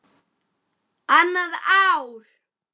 Annað ár.